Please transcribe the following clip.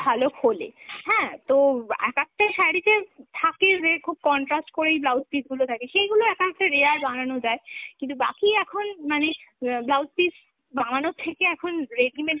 ভালো খোলে হ্যাঁ, তো এক একটা শাড়িতে থাকে যে খুব contrast করেই blouse piece গুলো থাকে, সেইগুলো এক একটা rare বানানো যায় কিন্তু বাকি এখন মানে অ্যাঁ blouse piece বানানোর থেকে এখন readymade ই